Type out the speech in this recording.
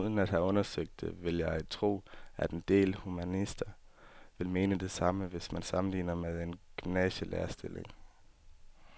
Uden at have undersøgt det vil jeg tro, at en del humanister vil mene det samme, hvis man sammenligner med en gymnasielærerstilling.